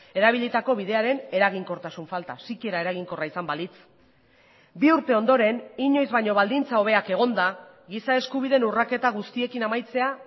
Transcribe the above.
erabilitako bidearen eraginkortasun falta sikiera eraginkorra izan balitz bi urte ondoren inoiz baino baldintza hobeak egonda giza eskubideen urraketa guztiekin amaitzea